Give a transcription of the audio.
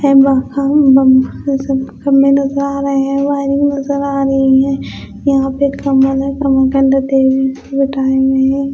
खंभे नजर आ रहे है वायरिंग नजर आ रही है यहां पे टाइम नही हैं।